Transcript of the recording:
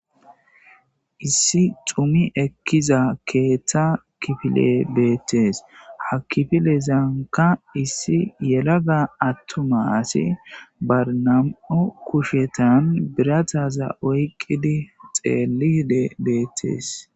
Issi xumi ekkiza keeththa kifile beettees ha kifile zaanka issi yelaga attomasi barnam'o kushetan birataza oyqidi xeelli hide beettees.